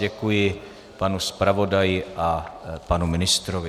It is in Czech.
Děkuji panu zpravodaji a panu ministrovi.